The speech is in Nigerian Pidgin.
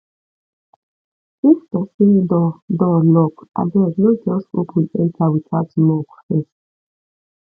if pesin door door lock abeg no just open enter without knock first